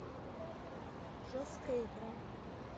жесткая игра